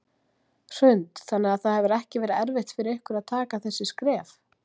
Hrund: Þannig að það hefur ekki verið erfitt fyrir ykkur að taka þessi skref?